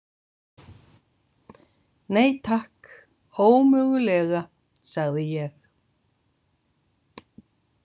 Nei, takk, ómögulega, sagði ég.